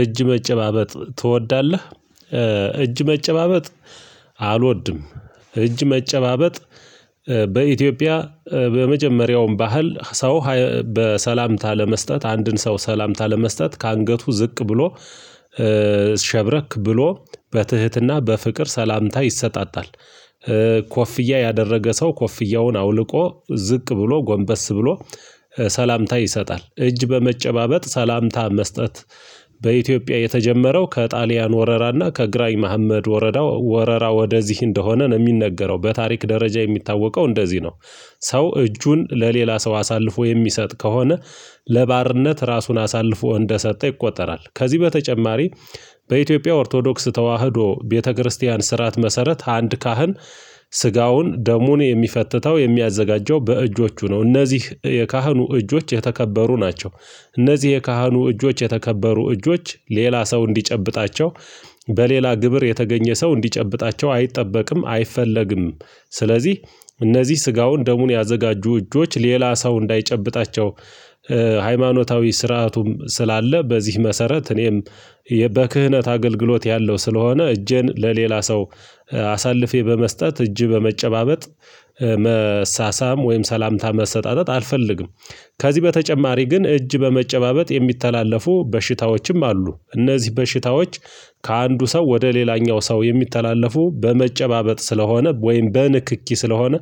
እጅ መጨባበጥ ትወዳለህ እጅ መጨባበጥ አልወድም። እጅ መጨባበጥ በኢትዮጵያ በመጀመሪያውም ባህል ሰው በሰላምታ ለመስጠት አንድን ሰው ሰላምታ ለመስጠት ከአንገቱ ዝቅ ብሎ ሸብረክ ብሎ በትህትና በፍቅር ሰላምታ ይሰጣጣል። ኮፍያ ያደረገ ሰው ኮፍያውን አውልቆ ዝቅ ብሎ ጎንበስ ብሎ ሰላምታ ይሰጣል። እጅ በመጨባበጥ ሰላምታ መስጠት በኢትዮጵያ የተጀመረው ከጣሊያን ወረራና ከግራኝ መሀመድ ወረዳ ወረራው ወደዚህ እንደሆነ ነው የሚነገረው በታሪክ ደረጃ የሚታወቀው እንደዚህ ነው። ሰው እጁን ለሌላ ሰው አሳልፎ የሚሰጥ ከሆነ ለባርነት ራሱን አሳልፎ እንደሰጠ ይቆጠራል። ከዚህ በተጨማሪ። በኢትዮጵያ ኦርቶዶክስ ተዋህዶ ቤተክርስቲያን ስርዓት መሰረት አንድ ካህን ስጋውን ደሙን የሚፈትተው የሚያዘጋጀው በእጆቹ ነው እነዚህ የካህኑ እጆች የተከበሩ ናቸው። እነዚህ የካህኑ እጆች የተከበሩ እጆች ሌላ ሰው እንዲጨብጣቸው በሌላ ግብር የተገኘ ሰው እንዲጨብጣቸው አይጠበቅም አይፈለግም። ስለዚህ እነዚህ ስጋውን ደሙን ያዘጋጁ እጆች ሌላ ሰው እንዳይጨብጣቸው። ሃይማኖታዊ ስርዓቱም ስላለ በዚህ መሰረት እኔም በክህነት አገልግሎት ያለው ስለሆነ እጄን ለሌላ ሰው። አሳልፌ በመስጠት እጅ በመጨባበጥ መሳሳም ወይም ሰላምታ መሰጣጠጥ አልፈልግም። ከዚህ በተጨማሪ ግን እጅ በመጨባበጥ የሚተላለፉ በሽታዎችም አሉ እነዚህ በሽታዎች። ከአንዱ ሰው ወደ ሌላኛው ሰው የሚተላለፉ በመጨባበጥ ስለሆነ ወይም በንክኪ ስለሆነ።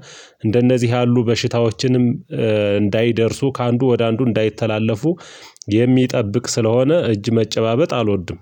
እንደነዚህ ያሉ በሽታዎችንም እንዳይደርሱ ከአንዱ ወደ አንዱ እንዳይተላለፉ። የሚጠብቅ ስለሆነ እጅ መጨባበጥ አልወድም።